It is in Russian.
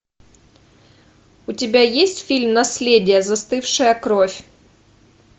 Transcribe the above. у тебя есть фильм наследие застывшая кровь